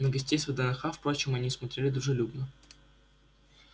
на гостей с вднх впрочем они смотрели дружелюбно